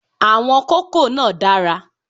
Àwọn kókò náà dára